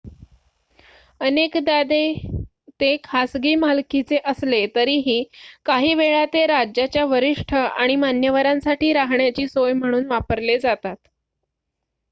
अनेकदा ते खासगी मालकीचे असले तरीही काही वेळा ते राज्याच्या वरिष्ठ आणि मान्यवरांसाठी राहण्याची सोय म्हणून वापरले जातात